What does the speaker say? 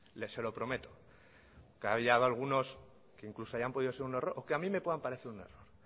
se lo prometo que haya habido algunos que incluso hayan podido ser un error o que a mí me puedan parecer un error